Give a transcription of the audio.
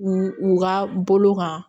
U u ka bolo kan